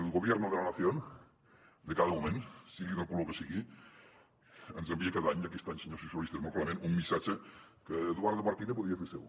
el gobierno de la nación de cada moment sigui del color que sigui ens envia cada any i aquest any senyors socialistes molt clarament un missatge que eduardo marquina podria fer seu